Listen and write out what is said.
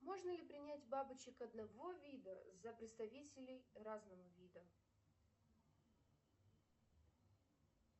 можно ли принять бабочек одного вида за представителей разного вида